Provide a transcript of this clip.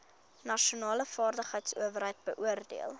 nasionale vaardigheidsowerheid beoordeel